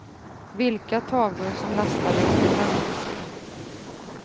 Vilka tavlor som lastades kunde han inte se.